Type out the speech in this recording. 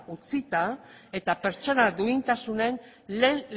utzita eta pertsona duintasunen lehen